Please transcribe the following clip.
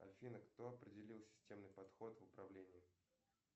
афина кто определил системный подход в управлении